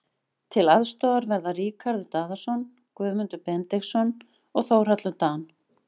Til aðstoðar verða Ríkharður Daðason, Guðmundur Benediktsson og Þórhallur Dan.